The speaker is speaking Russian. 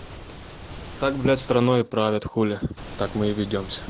так блять страной правят хули так мы и ведёмся